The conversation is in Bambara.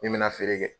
Min mɛna feere kɛ